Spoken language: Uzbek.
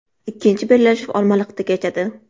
Ikkinchi bellashuv Olmaliqda kechadi.